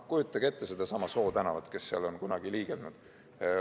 Kujutage ette sedasama Soo tänavat, need, kes on seal kunagi liigelnud.